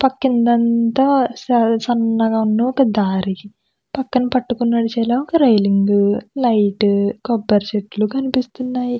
పక్కన అనతా సన్నగా ఒక దారి పక్కన పట్టుకుని నడిచేలా ఒక రైలింగ్ లైట్ కొబ్బరి చెట్లు కనిపిస్తున్నాయి.